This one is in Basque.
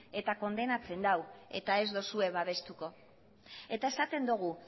eta kondenatzen du eta ez duzue babestuko eta esaten dugu